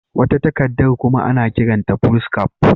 Wata takardar kuma ana kiranta Foolscap.